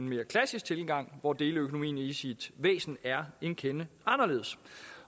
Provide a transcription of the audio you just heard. mere klassisk tilgang hvor deleøkonomien i sit væsen er en kende anderledes